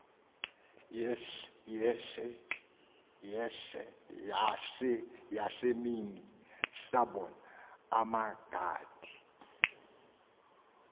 yasemini sabon amagaty